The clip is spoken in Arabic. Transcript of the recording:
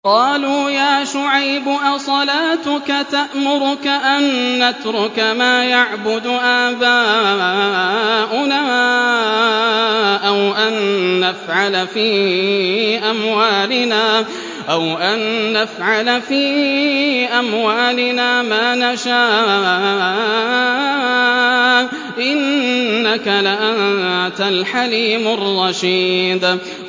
قَالُوا يَا شُعَيْبُ أَصَلَاتُكَ تَأْمُرُكَ أَن نَّتْرُكَ مَا يَعْبُدُ آبَاؤُنَا أَوْ أَن نَّفْعَلَ فِي أَمْوَالِنَا مَا نَشَاءُ ۖ إِنَّكَ لَأَنتَ الْحَلِيمُ الرَّشِيدُ